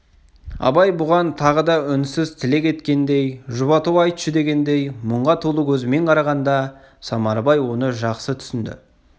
абай бұған тағы да үнсіз тілек еткендей жұбату айтшы дегендей мұңға толы көзімен қарағанда самарбай оны жақсы түсінді